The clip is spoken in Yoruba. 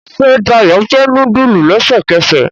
Ṣe Dayo fè nudulu lẹsẹkẹsẹ